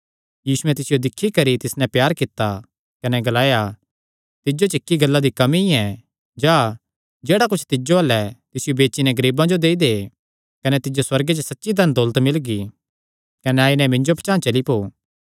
यीशुयैं तिसियो दिक्खी करी तिस नैं प्यार कित्ता कने ग्लाया तिज्जो च इक्की गल्ला दी कमी ऐ जा जेह्ड़ा कुच्छ तिज्जो अल्ल ऐ तिसियो बेची नैं गरीबां जो देई दे कने तिज्जो सुअर्गे च सच्ची धन दौलत मिलगी कने आई नैं मिन्जो पचांह़ चली पौ